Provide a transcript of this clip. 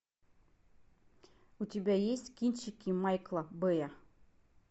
у тебя есть кинчики майкла бэя